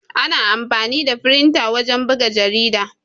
Ana amfani da firinta wajen buga jarida.